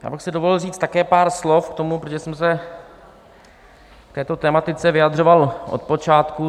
Já bych si dovolil říct také pár slov k tomu, protože jsem se k této tematice vyjadřoval od počátku.